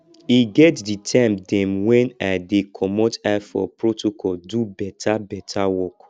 e get di time dem wen i dey comot eye for protocol do beta beta work